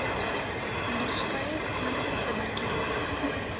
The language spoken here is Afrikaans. onderskeie soorte tuberkulose